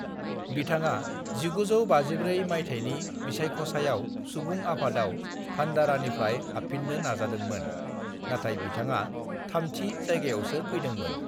बिथाङा 1954 माइथायनि बिसायख'सायाव सुबुं आफादाव भंडारानिफ्राय हाबफिननो नाजादों मोन नाथाय बिथाङा थामथि जायगायावसो फैदों मोन ।